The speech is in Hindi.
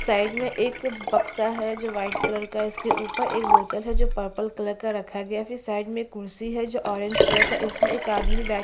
साइड में एक बक्सा है जो व्हाइट कलर का है इसके ऊपर एक बोतल है जो पर्पल कलर का रखा गया है फिर साइड में एक कुर्सी है जो ऑरेंज कलर का इसमें एक आदमी बै --